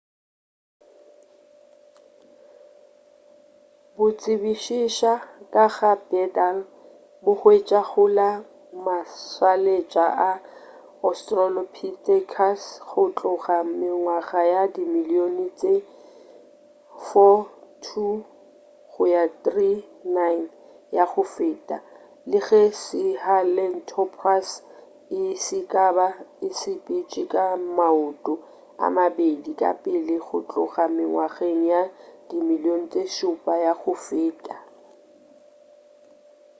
bo tsebišiša ka ga bipedal bo hwetšwa go la mašaletša a australopithecus go tloga mengwaga ye dimilion tše 4.2-3.9 ya go feta le ge sahelanthropus e ka ba e sepetše ka maoto a mabedi ka pele go tloga mengwaga ye dimilion tše šupa ya go feta